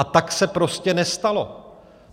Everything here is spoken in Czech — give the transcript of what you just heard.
A tak se prostě nestalo.